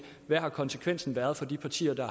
hvad konsekvenserne skulle være for de partier der